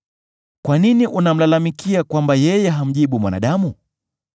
Kwa nini unamlalamikia kwamba yeye hamjibu mwanadamu?